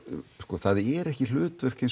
það er ekki hlutverk hins